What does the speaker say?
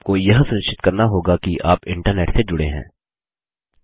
और आपको यह सुनिश्चित करना होगा कि आप इंटरनेट से जुड़े हुए हैं